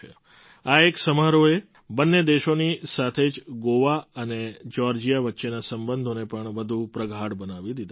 આ એક સમારોહે બંને દેશોની સાથે જ ગોવા અને જ્યૉર્જિયા વચ્ચેના સંબંધોને પણ વધુ પ્રગાઢ બનાવી દીધા છે